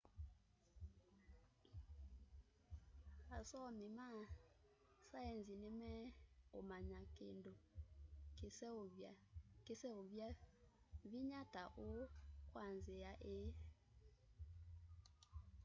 asomi ma saienzi ni meumanya kindu kiseovya vinya ta uu kwa nzia ii